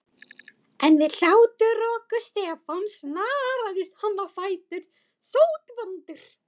En við hláturroku Stefáns snaraðist hann á fætur, sótvondur.